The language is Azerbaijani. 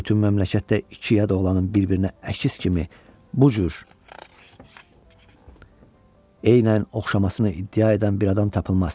Bütün məmləkətdə iki yad oğlanın bir-birinə əkiz kimi bu cür eynən oxşamasına iddia edən bir adam tapılmaz.